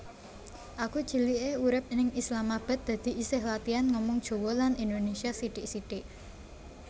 Aku cilike urip ning Islamabad dadi isih latian ngomong Jowo lan Indonesia sithik sithik